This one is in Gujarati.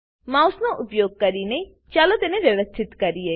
માઉસનો ઉપયોગ કરી ચાલો તેને વ્યવસ્થિત કરીએ